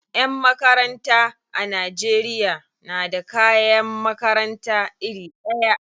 Yan makaranta a Najeriya na da kayan makarata iri ɗaya.